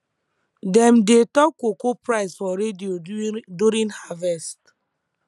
dem dey talk cocoa price for radio during harvest